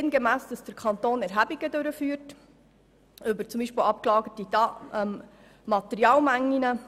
Demnach führt der Kanton Erhebungen durch, beispielsweise über abgelagerte Materialmengen.